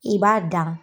I b'a dan